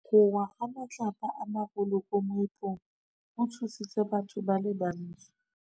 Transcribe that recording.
Go wa ga matlapa a magolo ko moepong go tshositse batho ba le bantsi.